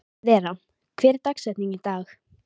Vera, hver er dagsetningin í dag?